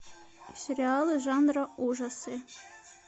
сериалы жанра ужасы